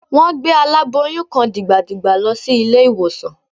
Wọ́n gbé aláboyún kan dìgbàdìgbà lọ sí ilé-ìwòsàn